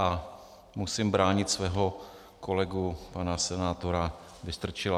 A musím bránit svého kolegu pana senátora Vystrčila.